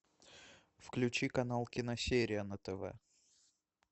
включи канал киносерия на тв